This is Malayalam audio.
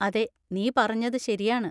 അതെ, നീ പറഞ്ഞത് ശരിയാണ്.